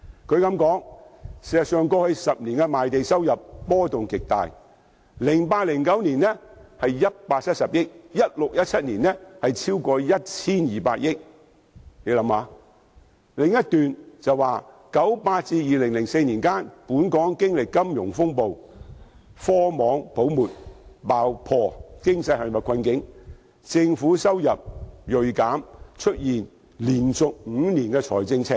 分析指出，過去10年的賣地收入波幅極大 ，2008-2009 年度是170億元 ，2016-2017 年度是超過 1,200 億元；分析的另一段指出，由1998年至2004年期間，本港經歷金融風暴，科網泡沫爆破，經濟陷入困境，政府收入銳減，連續5年出現財政赤字。